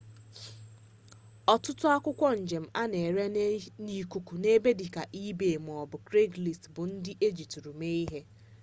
ọtụtụ akwụkwọ njem a na-ere n'ikuku n'ebe dịka ebay maọbụ kraigslist bụ ndị ejitụrụ mee ihe